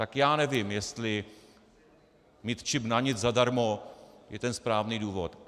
Tak já nevím, jestli mít čip na nic zadarmo je ten správný důvod.